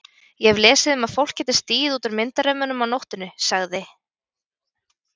Ég hef lesið um að fólk geti stigið út úr myndarömmunum á nóttunni sagði